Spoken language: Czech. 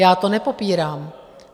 Já to nepopírám.